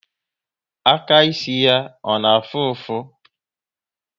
Aka ịsị ya ọ na afụ ụfụ?